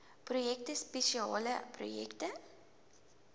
projekte spesiale projekte